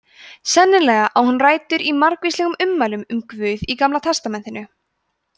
sennilega á hún rætur í margvíslegum ummælum um guð í gamla testamentinu